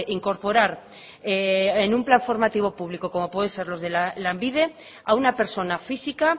incorporar en un plan formativo público como pueden ser los de lanbide a una persona física